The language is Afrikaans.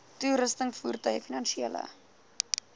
toerusting voertuie finansiële